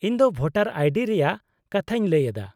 -ᱤᱧ ᱫᱚ voter ID ᱨᱮᱭᱟᱜ ᱠᱟᱛᱷᱟᱧ ᱞᱟᱹᱭ ᱮᱫᱟ ᱾